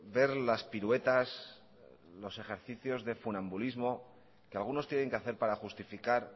ver las piruetas los ejercicios de funambulismo que algunos tienen que hacer para justificar